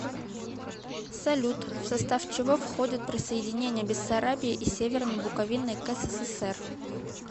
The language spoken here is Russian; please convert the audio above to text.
салют в состав чего входит присоединение бессарабии и северной буковины к ссср